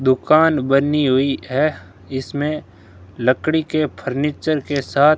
दुकान बनी हुई है इसमें लकड़ी के फर्नीचर के साथ --